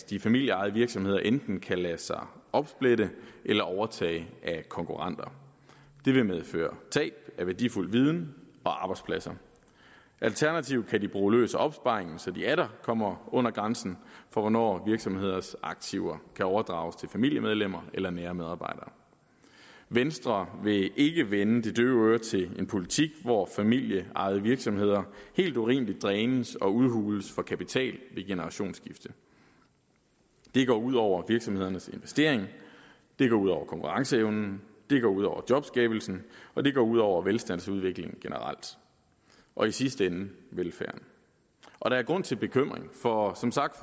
de familieejede virksomheder enten kan lade sig opsplitte eller overtage af konkurrenter det vil medføre tab af værdifuld viden og arbejdspladser alternativt kan de bruge løs af opsparingen så de atter kommer under grænsen for hvornår virksomheders aktiver kan overdrages til familiemedlemmer eller nære medarbejdere venstre vil ikke vende det døve øre til en politik hvor familieejede virksomheder helt urimeligt drænes og udhules for kapital ved generationsskifte det går ud over virksomhedernes investering det går ud over konkurrenceevnen det går ud over jobskabelsen og det går ud over velstandsudviklingen generelt og i sidste ende velfærden og der er grund til bekymring for som sagt